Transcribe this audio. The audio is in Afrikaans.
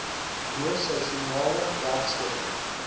bo seisoenale werkskepping